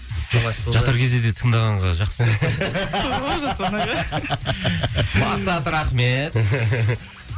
жатар кезде де тыңдағанға жақсы түү жасұлан аға мақсат рахмет